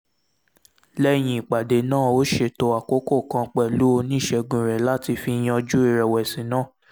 lẹ́yìn ìpàdé náà ó ṣètò àkókò kan pẹ̀lú oníṣègùn rẹ̀ láti fi yanjú ìrẹ̀wẹ̀sì náà